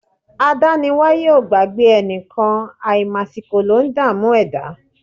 Adániwáyé o gbàgbé ẹnìkan, àìmàsìkò ló ń dààmú ẹ̀dá.